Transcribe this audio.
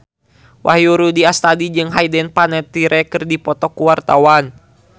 Wahyu Rudi Astadi jeung Hayden Panettiere keur dipoto ku wartawan